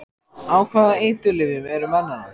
Á hvaða eiturlyfjum eru menn þarna?